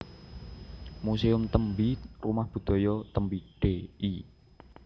Muséum Tembi Rumah Budaya Tembi Dl